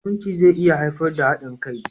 Aminci zai iya haifar da haɗin kai.